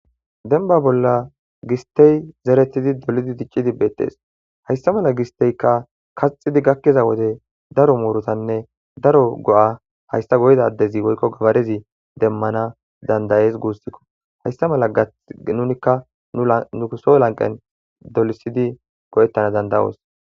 denba bolla gistey zeretidi dolidi diccidibbeettees hayssa mala gisteykka kaxidi gakkiza wode daro muurutanne daro go7a haysta goyda addezi woykko gabarezi demmana dandayees guussikko haysta mala gatnunikka nuuso lanqen dolisidi go7ettana dandayoos